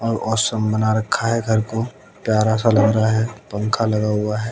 और बना रखा है घर को प्यारा सा लग रहा है पंखा लगा हुआ है।